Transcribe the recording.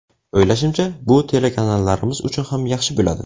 O‘ylashimcha, bu telekanallarimiz uchun ham yaxshi bo‘ladi.